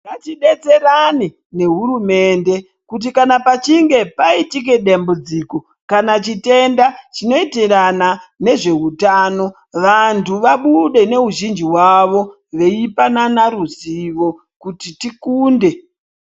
Ngatidetserane ne hurumende kuti kana pachinge paitika dambudziko kana chitenda chino enderana nezveutano vantu vabude nehuwandu hwavo veipana ruzivo kuti tikunde.